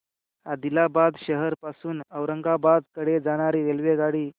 आदिलाबाद शहर पासून औरंगाबाद कडे जाणारी रेल्वेगाडी